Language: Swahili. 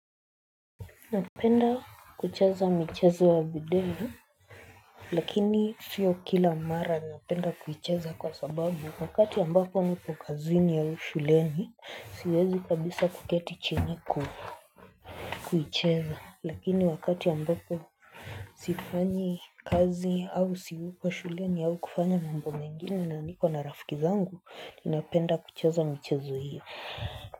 Napenda kucheza michezo wa video Lakini sio kila mara napenda kuicheza kwa sababu wakati ambapo nipo kazini au shuleni siwezi kabisa kuketi chini ku kuicheza lakini wakati ambapo Sifanyi kazi au siuko shuleni au kufanya mambo mengine na niko na rafiki zangu napenda kucheza michezo hiyo.